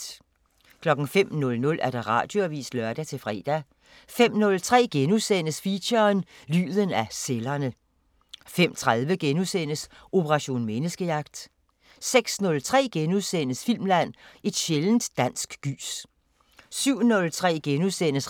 05:00: Radioavisen (lør-fre) 05:03: Feature: Lyden af cellerne * 05:30: Operation Menneskejagt * 06:03: Filmland: Et sjældent dansk gys * 07:03: